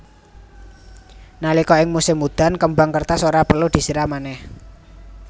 Nalika ing musim udan kembang kertas ora perlu disiram manèh